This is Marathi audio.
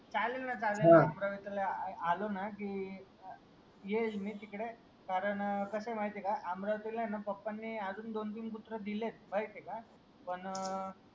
चालेल ना चालेल ना अमरावती ला आलो ना की येईल मी तिकडे कारण कस आहे माहीत आहे का आमरावतीला आहे ना PAPA अजून दोन तीन कुत्रा दिल आहेत माहीत आहे का पण